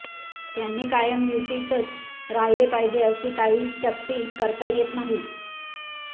त्यांनी कायम युतीतच राहिले पाहिजे अशी काही सक्ती करता येत नाही